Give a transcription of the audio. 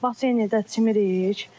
Baseyndə çimirik.